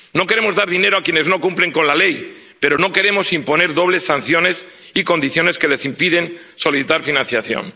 No queremos dar dinero a quienes no cumplen la ley, pero no queremos imponer dobles sanciones y condiciones que les impiden solicitar financiación.